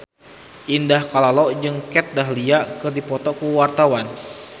Indah Kalalo jeung Kat Dahlia keur dipoto ku wartawan